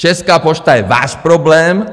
Česká pošta je váš problém.